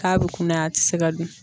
K'a bɛ kunnaya a tɛ se ka dun.